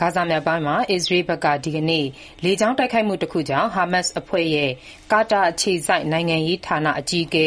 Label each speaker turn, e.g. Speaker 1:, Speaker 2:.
Speaker 1: ဂါဇာမြောက်ပိုင်းမှာ အစ္စရေးဘက်က ဒီကနေ့ လေကြောင်းတိုက်ခိုက်မှုတခုကြောင့် ဟာမတ်စ်အဖွဲ့ရဲ့ ကာတာအခြေစိုက် နိုင်ငံရေးဌာန အကြီးအကဲ